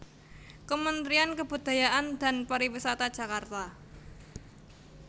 Kementrian Kebudayaan dan pariwisata Jakarta